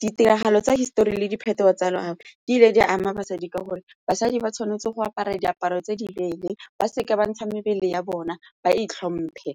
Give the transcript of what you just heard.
Ditiragalo tsa hisetori le diphetogo tsa loago di ile di a ama basadi ka gore basadi ba tshwanetse go apara diaparo tse di leele, ba seka ba ntsha mebele ya bona, ba itlhomphe,